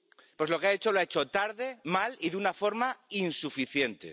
Pues lo que ha hecho lo ha hecho tarde, mal y de una forma insuficiente.